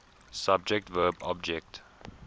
subject verb object